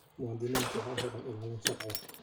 Muwaadiniintu waxay helaan ilaalin sharci.